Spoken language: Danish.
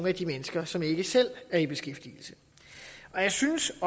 af de mennesker som ikke selv er i beskæftigelse jeg synes